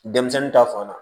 Denmisɛnnin ta fan na